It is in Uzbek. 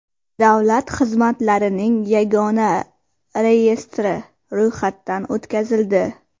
Davlat xizmatlarining yagona reyestri ro‘yxatdan o‘tkazildi.